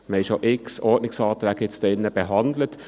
Wir haben hier drin bereits x Ordnungsanträge behandelt.